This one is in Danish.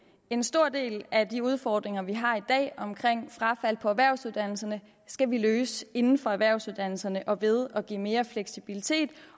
en stor del af de udfordringer vi har i dag omkring frafald på erhvervsuddannelserne skal vi løse inden for erhvervsuddannelserne og ved at give mere fleksibilitet